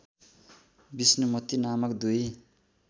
विष्णुमती नामक दुई